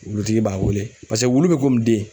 Wulutigi b'a wele. Paseke wulu be den.